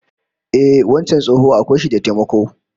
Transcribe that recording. Ehh, wancan tsoho akwai shi da dattako